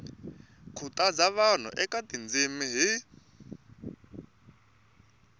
khutaza vanhu eka tindzimi hi